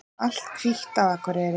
Allt hvítt á Akureyri